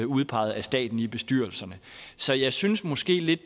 udpeget af staten i bestyrelserne så jeg synes måske lidt